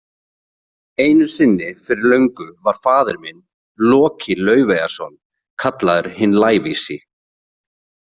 Einu sinni fyrir löngu var faðir minn, Loki Laufeyjarson, kallaður hinn lævísi